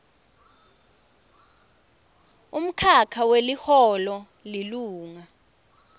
umkhakha weliholo lilunga